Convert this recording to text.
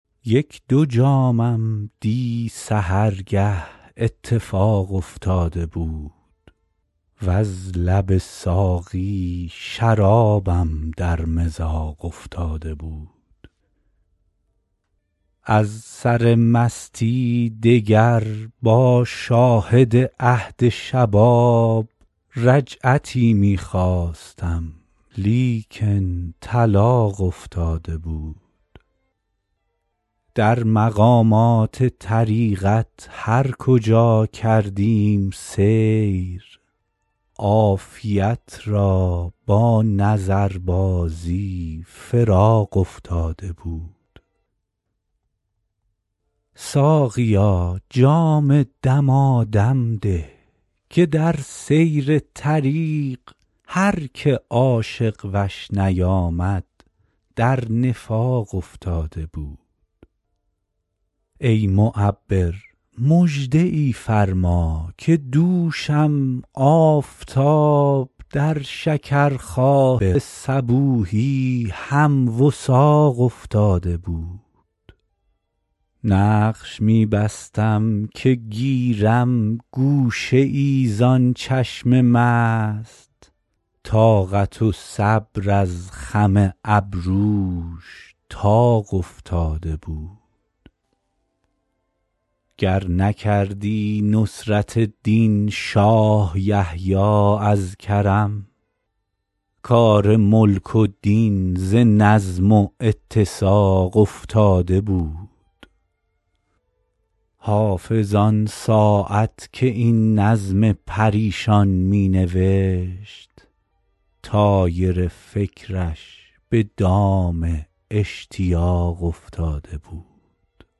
یک دو جامم دی سحرگه اتفاق افتاده بود وز لب ساقی شرابم در مذاق افتاده بود از سر مستی دگر با شاهد عهد شباب رجعتی می خواستم لیکن طلاق افتاده بود در مقامات طریقت هر کجا کردیم سیر عافیت را با نظربازی فراق افتاده بود ساقیا جام دمادم ده که در سیر طریق هر که عاشق وش نیامد در نفاق افتاده بود ای معبر مژده ای فرما که دوشم آفتاب در شکرخواب صبوحی هم وثاق افتاده بود نقش می بستم که گیرم گوشه ای زان چشم مست طاقت و صبر از خم ابروش طاق افتاده بود گر نکردی نصرت دین شاه یحیی از کرم کار ملک و دین ز نظم و اتساق افتاده بود حافظ آن ساعت که این نظم پریشان می نوشت طایر فکرش به دام اشتیاق افتاده بود